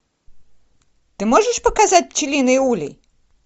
ты можешь показать пчелиный улей